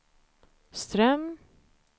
Ström